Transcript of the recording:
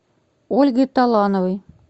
ольгой талановой